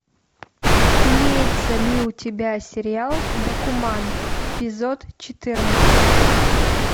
имеется ли у тебя сериал бакуман эпизод четырнадцать